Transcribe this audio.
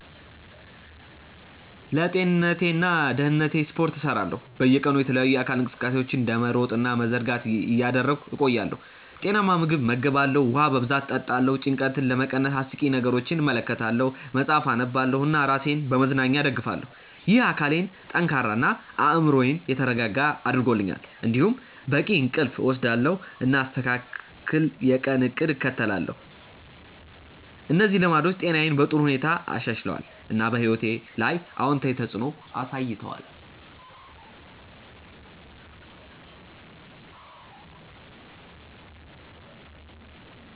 ለጤንነቴና ደህንነቴ ስፖርት እሰራለሁ፣ በየቀኑ የተለያዩ የአካል እንቅስቃሴዎችን እንደ መሮጥ እና መዘርጋት እያደረግሁ እቆያለሁ። ጤናማ ምግብ እመገባለሁ፣ ውሃ በብዛት እጠጣለሁ። ጭንቀትን ለመቀነስ አስቂኝ ነገሮችን እመለከታለሁ፣ መጽሐፍ አነባለሁ እና ራሴን በመዝናኛ እደግፋለሁ። ይህ አካሌን ጠንካራ እና አእምሮዬን የተረጋጋ አድርጎኛል። እንዲሁም በቂ እንቅልፍ እወስዳለሁ፣ እና አስተካክል የቀን እቅድ እከተላለሁ። እነዚህ ልማዶች ጤናዬን በጥሩ ሁኔታ አሻሽለዋል፣ እና በሕይወቴ ላይ አዎንታዊ ተፅዕኖ አሳይተዋል።